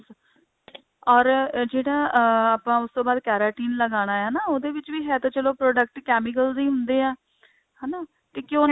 or ਜਿਹੜਾ ਅਹ ਆਪਾਂ ਉਸ ਤੋਂ ਬਾਅਦ keratin ਲਗਾਨਾ ਹੈ ਨਾ ਉਹਦੇ ਵਿੱਚ ਵੀ ਹੈ ਤੇ ਚੱਲੋ product chemicals ਹੀ ਹੁੰਦੇ ਆ ਹਨਾ ਤੇ ਕਿਉਂਕਿ